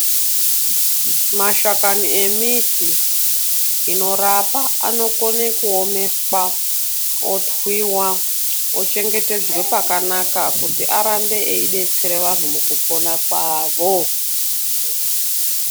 Mashakani emiti inorapa anokone kuomeswa otwiwa ochengetdzwe pakanaka kuti arambe eidetsere vanhu mukupona kwavo.